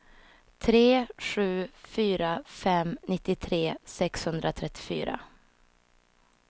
tre sju fyra fem nittiotre sexhundratrettiofyra